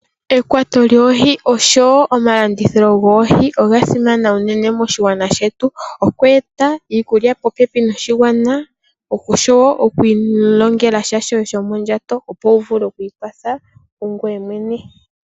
Ekwato lyOohii oshowo omalandithilo gOohii onga simana unene moshingwaana shetu, Okweta iikulya popepi noshingwaana oshowo okwilongela shoye shomondjato opo wuvule okwikwatha kungwey mwene.